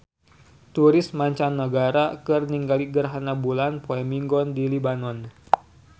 Turis mancanagara keur ningali gerhana bulan poe Minggon di Libanon